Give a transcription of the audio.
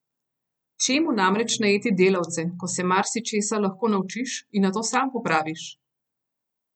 Čemu namreč najeti delavce, ko se marsičesa lahko naučiš in nato sam popraviš!